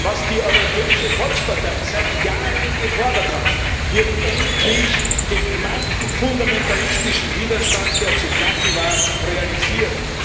Was die Europäische Volkspartei seit Jahren gefordert hat, wird endlich gegen manchen fundamentalistischen Widerstand, der zu knacken war realisiert.